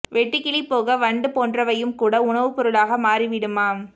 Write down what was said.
வெட்டுக்கிளி போக வண்டு போன்றவையும் கூட உணவுப் பொருளாக மாறி விடுமாம்